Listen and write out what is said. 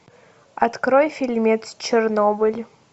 открой фильмец чернобыль